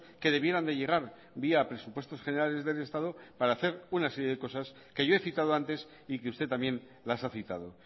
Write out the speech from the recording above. que debieran de llegar vía presupuestos generales del estado para hacer una serie de cosas que yo he citado antes y que usted también las ha citado